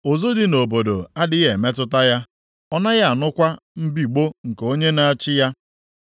Ụzụ dị nʼobodo adịghị emetụta ya, ọ naghị anụkwa mbigbọ nke onye na-achị ya.